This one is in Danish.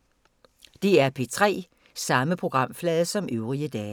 DR P3